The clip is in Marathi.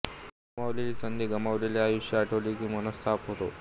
गमावलेल्या संधी गमावलेले आयुष्य़ आठवले की मनस्ताप होतो